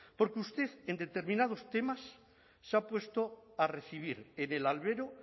porque usted en determinados temas se ha puesto a recibir en el albero